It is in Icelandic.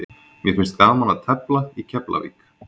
Mér finnst gaman að tefla í Keflavík.